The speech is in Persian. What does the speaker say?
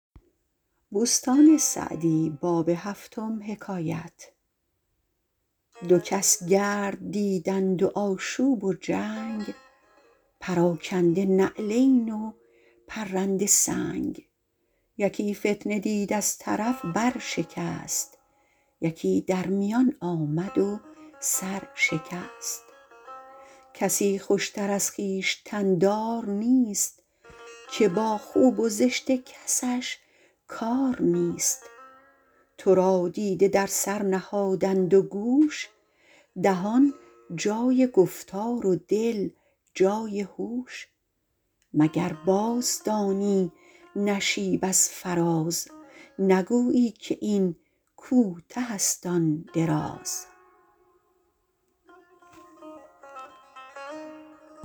دو کس گرد دیدند و آشوب و جنگ پراکنده نعلین و پرنده سنگ یکی فتنه دید از طرف بر شکست یکی در میان آمد و سر شکست کسی خوشتر از خویشتن دار نیست که با خوب و زشت کسش کار نیست تو را دیده در سر نهادند و گوش دهان جای گفتار و دل جای هوش مگر باز دانی نشیب از فراز نگویی که این کوته است آن دراز